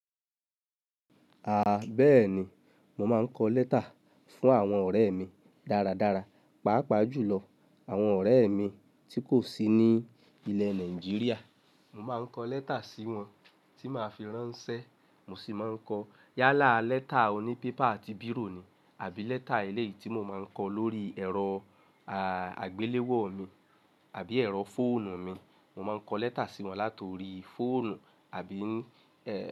Àá, bẹ́ẹ̀ni, mo máa ń kọ lẹ́tà fún àwọn ọ̀rẹ́ mi dáradára, pàápàá jùlọ àwọn ọ̀rẹ́ mi tí kò sí ní ilẹ̀ Nàìjíríà. Mo má ń kọ lẹ́tà sí wọn tí màá fi ránṣẹ́. Mo sì máa ń kọ yálà lẹ́tà òní pépà àti bírò ni, àbí lẹ́tà eléyìí tí mo má ń kọ lórí ẹ̀rọ, à, àgbéléwò mi àbí ẹ̀rọ fóònù mi. Mo maa n kọ lẹta si wọn lat'ori foonu abi.